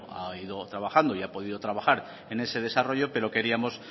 ha ido trabajando y ha podido trabajar en ese desarrollo pero queríamos